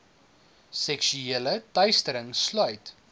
seksuele teistering sluit